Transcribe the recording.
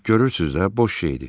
Görürsüz də, boş şey idi.